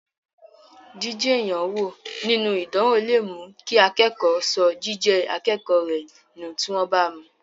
Jiji èèyàn wo nínú ìdánwò lè mú kí akẹ́kọ̀ọ́ sọ jíjẹ́ akẹ́kọ̀ọ́ rẹ nù tí wọ́n bá mú.